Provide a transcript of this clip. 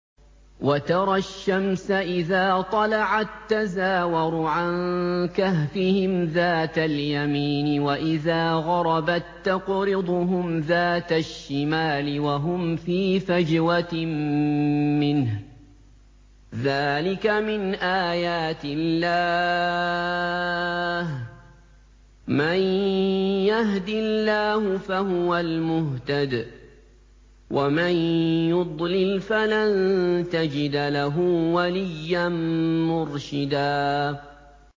۞ وَتَرَى الشَّمْسَ إِذَا طَلَعَت تَّزَاوَرُ عَن كَهْفِهِمْ ذَاتَ الْيَمِينِ وَإِذَا غَرَبَت تَّقْرِضُهُمْ ذَاتَ الشِّمَالِ وَهُمْ فِي فَجْوَةٍ مِّنْهُ ۚ ذَٰلِكَ مِنْ آيَاتِ اللَّهِ ۗ مَن يَهْدِ اللَّهُ فَهُوَ الْمُهْتَدِ ۖ وَمَن يُضْلِلْ فَلَن تَجِدَ لَهُ وَلِيًّا مُّرْشِدًا